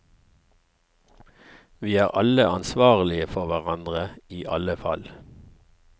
Vi er alle ansvarlige for hverandre i alle fall.